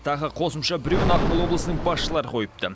тағы қосымша біреуін ақмола облысының басшылары қойыпты